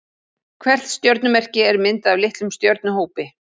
Hvert stjörnumerki er myndað af litlum stjörnuhópi.